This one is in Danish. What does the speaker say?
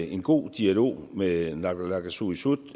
en god dialog med naalakkersuisut